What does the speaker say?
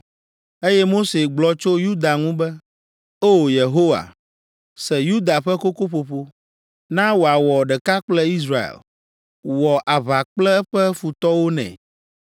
Eye Mose gblɔ tso Yuda ŋu be: “O! Yehowa, se Yuda ƒe kokoƒoƒo, na wòawɔ ɖeka kple Israel wɔ aʋa kple eƒe futɔwo nɛ.”